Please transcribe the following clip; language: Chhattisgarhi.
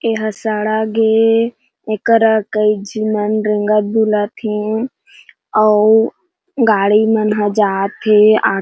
ऐह सड़गे एकर कईज मन रेंगत बुलत हे। अऊ गाड़ी मन ह जाथे आ --